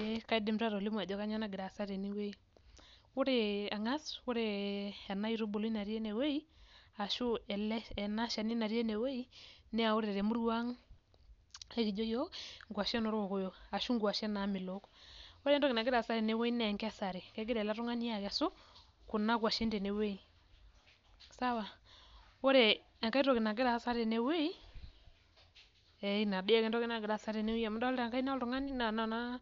Ee kaidim taa atolimu ajo kanyioo nagira aasa tenewei. Ore ang'as, ore enaitubului natii enewei, ashu enashani natii enewei, na ore temurua ang, ekijo yiok nkwashen orkokoyo. Ashu nkwashen namelook. Ore entoki nagira aasa tenewei naa enkesare. Kegira ele tung'ani akesu, kuna kwashen tenewoi. Sawa. Ore enkae toki nagira aasa tenewei, ina dii ake entoki nagira aasa tenewei amu idolta enkaina oltung'ani na noona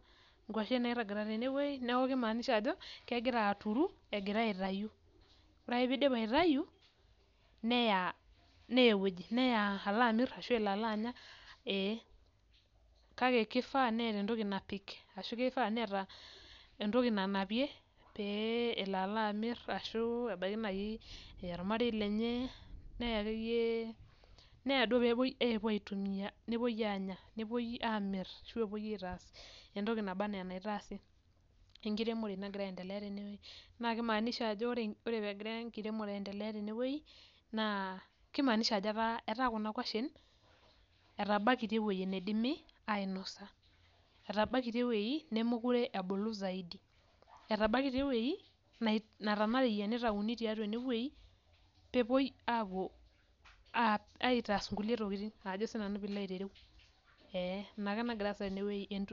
nkwashen nairragita tenewei, neeku kimaanisha ajo, kegira aturu, egira aitayu. Ore ake pidip aitayu, neya ewoji neya alamir ashu elo alanya, ee. Kake kifaa neeta entoki napik, ashu kifaa neeta entoki nanapie, pee elo alamir ashu ebaiki nai eya ormarei lenye, neya akeyie neya duo pepoi apuo aitumia, nepoi anya. Nepoi amir ashu epoi aitaas entoki naba enaa enaitaasi. Enkiremore nagira aendelea tenewei. Na kimaanisha ajo ore pegira enkiremore aendelea tenewei, naa kimaanisha ajo etaa kuna kwashen, etabaikitia ewei nidimi ainosa. Etabaikitia ewei nemekure ebulu zaidi. Etabaikitia ewoi, natanareyia nitauni tiatua enewoi, pepoi apuo aitaas inkulie tokiting najo sinanu pilo aitereu. Ee, inake nagira aasa tenewei.